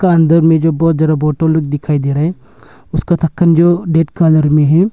अंदर में जो बहुत ज्यादा बॉटल लोग दिखाई दे रहा है उसका ढक्कन जो रेड कलर में है।